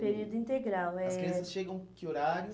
Período integral é... As crianças chegam que horário?